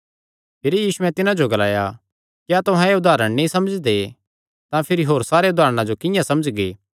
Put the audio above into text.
भिरी यीशुयैं तिन्हां जो ग्लाया क्या तुहां एह़ उदारण नीं समझदे तां भिरी होर सारे उदारणा जो किंआं समझगे